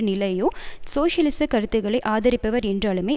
நிலையோ சோசியலிச கருத்துக்களை ஆதரிப்பவர் என்றாலுமே